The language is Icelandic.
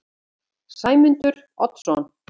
Sæmundur Oddsson